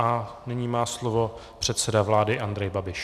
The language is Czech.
A nyní má slovo předseda vlády Andrej Babiš.